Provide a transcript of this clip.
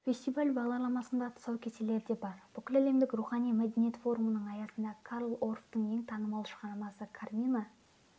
фестиваль бағдарламасында тұсаукесерлер де бар бүкіләлемдік рухани мәдениет форумының аясында карл орфтың ең танымал шығармасы кармина